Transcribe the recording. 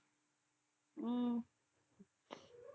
உம்